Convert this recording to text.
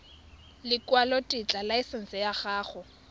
ya lekwalotetla laesense ya go